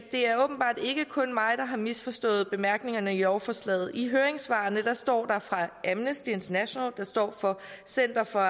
det er åbenbart ikke kun mig der har misforstået bemærkningerne i lovforslaget i høringssvaret står der fra amnesty international fra center for